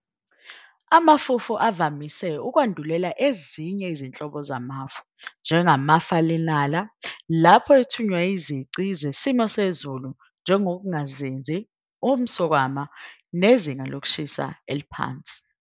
Amafufu avamise ukwandulela ezinye izinhlobo zamafu, njengamafalenala, lapho ethonywa izici zesimo sezulu njengokungazinzi, umswakama, nezinga lokushisa eliphansi.